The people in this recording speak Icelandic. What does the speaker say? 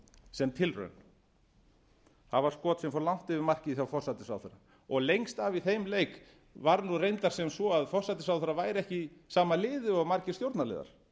sem tilraun það var skot sem fór langt yfir markið hjá forsætisráðherra og lengst af í þeim leik var nú reyndar sem svo að forsætisráðherra væri ekki í sama liði og margir stjórnarliðar